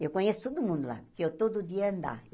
Eu conheço todo mundo lá, porque eu, todo dia, ia andar.